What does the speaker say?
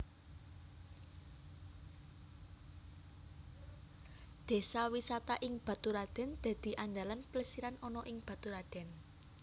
Désa wisata ing Baturadèn dadi andalan plesiran ana ing Baturadèn